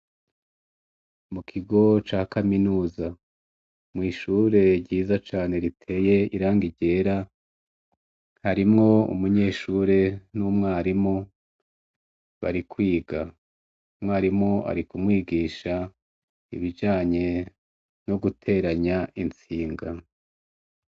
Mu kigo ca kaminuza. Mw' ishure ryiza cane riteye irangi ryera, harimwo umunyeshure n' umwarimu, bari kwiga. Umwarimu ari kumwigisha ibijanye no guteranya intsinga.